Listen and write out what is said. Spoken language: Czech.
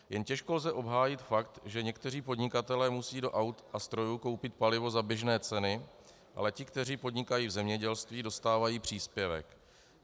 Jen těžko lze obhájit fakt, že někteří podnikatelé musí do aut a strojů koupit palivo za běžné ceny, ale ti, kteří podnikají v zemědělství, dostávají příspěvek.